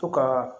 To ka